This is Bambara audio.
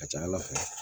A ka ca ala fɛ